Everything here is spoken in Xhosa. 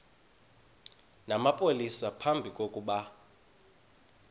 namapolisa phambi kokuba